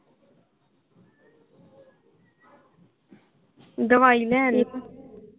ਦਵਾਈ ਲੈ ਆਣੀ ਸੀ